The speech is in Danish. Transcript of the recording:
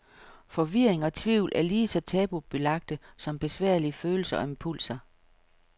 Forvirring og tvivl er lige så tabubelagte som besværlige følelser og impulser.